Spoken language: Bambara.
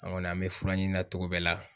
An kɔni an bɛ fura ɲini na togo bɛɛ la.